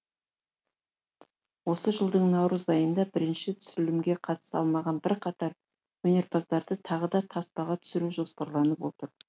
осы жылдың наурыз айында бірінші түсірілімге қатыса алмаған бірқатар өнерпаздарды тағы да таспаға түсіру жоспарланып отыр